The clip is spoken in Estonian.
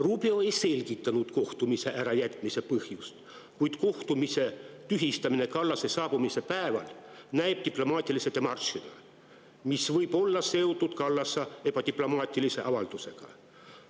Rubio ei selgitanud kohtumise ärajätmise põhjust, kuid kohtumise tühistamine Kallase saabumise päeval näib diplomaatilise demaršina, mis võib olla seotud Kallase ebadiplomaatilise avaldusega.